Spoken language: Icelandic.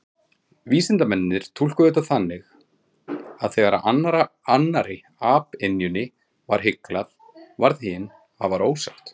Vísindamennirnir túlkuðu þetta þannig að þegar annarri apynjunni var hyglað, varð hin afar ósátt.